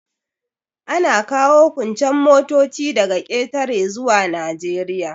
Ana kawo kuncen motoci daga ƙetare zuwa Najeriya.